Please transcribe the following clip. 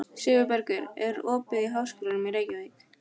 Sigurbergur, er opið í Háskólanum í Reykjavík?